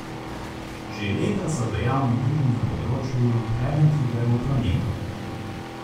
Že leta so dejavni tudi na področju preventive v prometu.